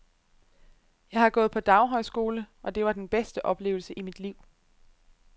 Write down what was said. Jeg har gået på daghøjskole, og det var den bedste oplevelse i mit liv.